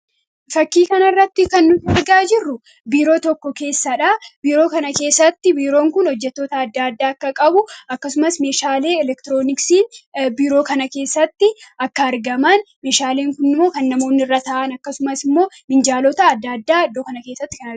Fakkii kanarratti kan nuti argaa jirru biiroo tokko keessadha. Biiroo kana keessatti biirroo kana keessatti hojjattoota adda addaa akka qabu akkasumas meeshaalee elektirooniksii biiroo kana keessatti kan argaman meeshaaleen kunimmoo kan namoonni irra taa'an akkasumas minjaalota adda addaa iddoo kanatti argamu.